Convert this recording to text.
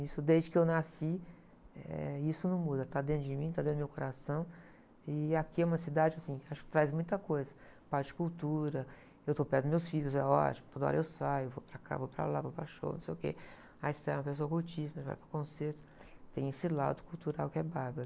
isso desde que eu nasci, eh, isso não muda, está dentro de mim, está dentro do meu coração e aqui é uma cidade assim, acho que traz muita coisa, parte de cultura, eu estou perto dos meus filhos, é ótimo, toda hora eu saio, vou para cá, vou para lá, vou para show, não sei o quê, aí você é uma pessoa cultíssima, vai para o concerto, tem esse lado cultural que é bárbaro.